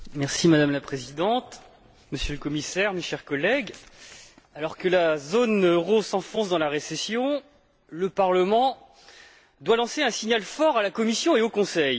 Madame la Présidente, Monsieur le Commissaire, mes chers collègues, alors que la zone euro s'enfonce dans la récession, le Parlement doit adresser un signal fort à la Commission et au Conseil.